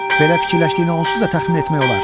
Belə fikirləşdiyini onsuz da təxmin etmək olar.